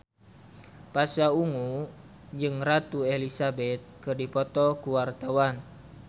Pasha Ungu jeung Ratu Elizabeth keur dipoto ku wartawan